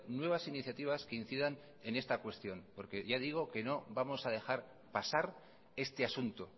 nuevas iniciativas que incidan en esta cuestión porque ya digo que no vamos a dejar pasar este asunto